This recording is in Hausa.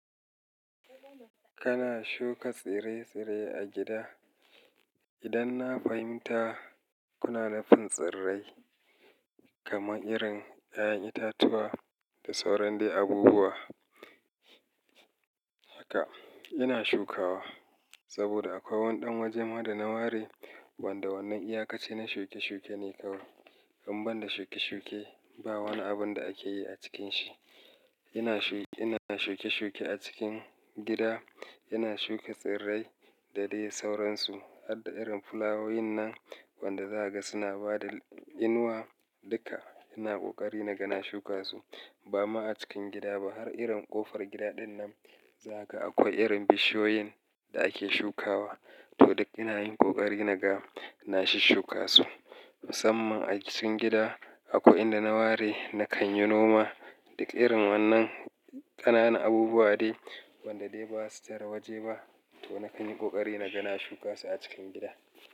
Kana shuka tsire-tsire a gida? Idan na fahimta kuna nufin tsirrai kamar irin 'ya'yan itatuwa da sauran dai abubuwa, haka ina shukawa saboda akwai wani ɗan waje mu da na ware wanda wannan iyakaci na shuke-shuke ne kawai. In ban da shuke-shuke ba, wani abun da ake yi a cikin shi. Ina shuke-shuke a cikin gida, ina shuka tsirrai da dai sauransu. Hadda irin fulawoyin nan wanda za ka ga suna ba da inuwa duka, ina kokari na ga na shuka su. Bama a cikin gida ba har irin ƙofar gida dinnan zaka akwai irin bishiyoyin da ake shukawa. To duk ina yin kokari na ga na shishuka su. Musamman a cikin gida akwai inda na ware na kan yi noma da irin wannan ƙanana abubuwa dai wanda dai basa tara waje ba. To na kan yi kokari na ga na shuka su a cikin gida.